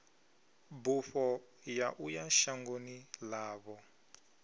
bufho ya uya shangoni ḽavho